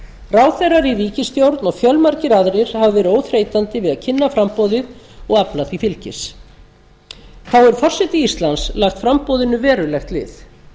ráðherrar í ríkisstjórn og fjölmargir aðrir hafa verið óþreytandi við að kynna framboðið og afla því fylgis þá hefur forseti íslands lagt framboðinu verulegt lið